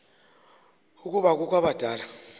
ukuba kukho abadala